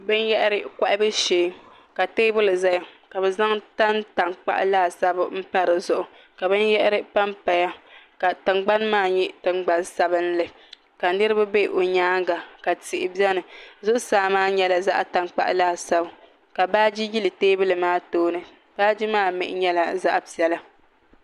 Bini yahari kɔhabu shɛɛ ka tɛɛbuli zaya ka bi zaŋ tani tankpaɣu laasabu pa di zuɣu ka bini yahari pa n paya ka tiŋgbani maa nyɛ tiŋgbani sabinli ka niriba bɛ o yɛanga ka tihi bɛ ni zuɣusaa maa yɛla zaɣi tankpaɣu laasabu ka baaji yili tɛɛbuli maa tooni baaji maa mihi yɛla zaɣi piɛlla.